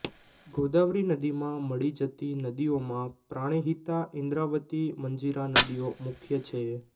ગોદાવરી નદીમાં મળી જતી નદીઓમાં પ્રાણહિતા ઇન્દ્રાવતી મંજિરા નદીઓ મુખ્ય છે